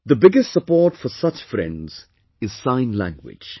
The biggest support for such friends is Sign Language